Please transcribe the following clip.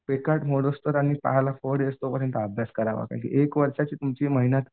पिकांत मोडूस्तोवर आणि पायाला फोड येऊस्तोपर्यंत अभ्यास करावा कारण की एक वर्षांची तुमची मेहनत.